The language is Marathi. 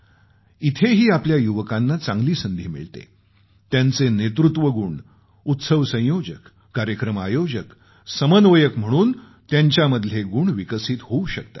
इथंही आपल्या युवकांना चांगली संधी मिळते त्यांचे नेतृत्वगुण उत्सव संयोजक कार्यक्रम आयोजक समन्वयक म्हणून त्यांच्यामधले गुण विकसित होऊ शकतात